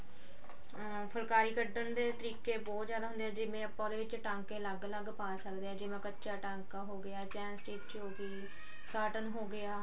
ਫੁਲਕਾਰੀ ਕੱਢਨ ਦੇ ਤਰੀਕੇ ਬਹੁਤ ਜਿਆਦਾ ਹੁੰਦੇ ਆ ਜਿਵੇਂ ਆਪਾਂ ਉਹਦੇ ਵਿੱਚ ਟਾਂਕੇ ਅਲੱਗ ਅਲੱਗ ਪਾ ਸਕਦੇ ਆ ਜਿਵੇਂ ਕੱਚਾ ਟਾਂਕਾ ਹੋਗਿਆ chain stich curtain ਹੋਗਿਆ